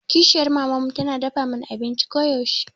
Kishiyar maman mu tana dafa mana abinci koyaushe.